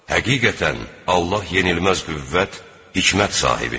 Həqiqətən, Allah yenilməz qüvvət, hikmət sahibidir.